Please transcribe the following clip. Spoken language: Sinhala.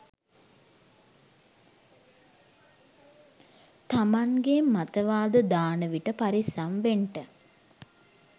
තමන්ගේ මතවාද දානවිට පරිස්සම් වෙන්ට.